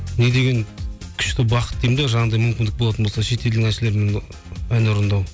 не деген күшті бақыт деймін де жаңағыдай мүмкіндік болатын болса шетелдің әншілерімен ән орындау